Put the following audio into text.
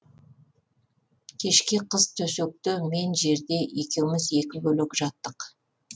кешке қыз төсекте мен жерде екеуміз екі бөлек жаттық